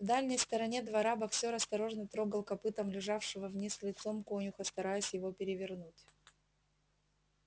в дальней стороне двора боксёр осторожно трогал копытом лежавшего вниз лицом конюха стараясь его перевернуть